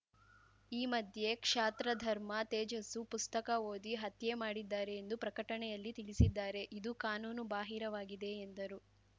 ಈ ಮಧ್ಯೆ ಕ್ಷಾತ್ರಧರ್ಮ ತೇಜಸ್ಸು ಪುಸ್ತಕ ಓದಿ ಹತ್ಯೆ ಮಾಡಿದ್ದಾರೆ ಎಂದು ಪ್ರಕಟಣೆಯಲ್ಲಿ ತಿಳಿಸಿದ್ದಾರೆ ಇದು ಕಾನೂನು ಬಾಹಿರವಾಗಿದೆ ಎಂದರು